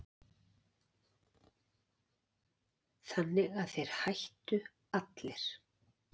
Þannig að þeir hættu allir.